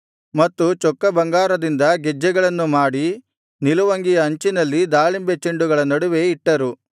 ಮತ್ತು ಚೊಕ್ಕ ಬಂಗಾರದಿಂದ ಗೆಜ್ಜೆಗಳನ್ನು ಮಾಡಿ ನಿಲುವಂಗಿಯ ಅಂಚಿನಲ್ಲಿ ದಾಳಿಂಬೆ ಚೆಂಡುಗಳ ನಡುವೆ ಇಟ್ಟರು